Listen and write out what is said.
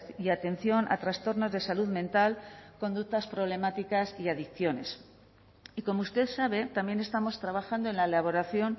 y atención a trastornos de salud mental conductas problemáticas y adicciones y como usted sabe también estamos trabajando en la elaboración